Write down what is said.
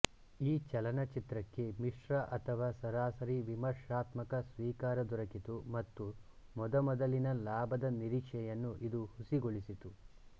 ಈ ಚಲನಚಿತ್ರಕ್ಕೆ ಮಿಶ್ರ ಅಥವಾ ಸರಾಸರಿ ವಿಮರ್ಶಾತ್ಮಕ ಸ್ವೀಕಾರ ದೊರಕಿತು ಮತ್ತು ಮೊದಮೊದಲಿನ ಲಾಭದ ನಿರೀಕ್ಷೆಯನ್ನು ಇದು ಹುಸಿಗೊಳಿಸಿತು